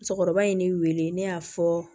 Musokɔrɔba in ye ne wele ne y'a fɔ